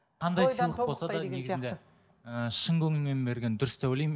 шын көңілмен берген дұрыс деп ойлаймын